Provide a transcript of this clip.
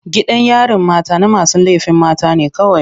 Gidan yarin mata na masu laifin mata ne kawai.